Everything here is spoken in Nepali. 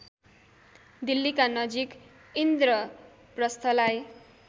दिल्लीका नजिक इन्द्रप्रस्थलाई